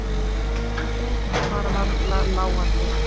Og þeim var varla láandi.